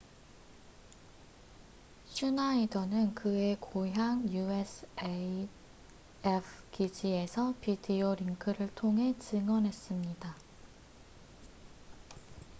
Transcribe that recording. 슈나이더는 그의 고향 usaf 기지에서 비디오링크를 통해 증언했습니다